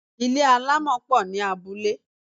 Ilé àlámọ̀ pọ̀ ní abúlé.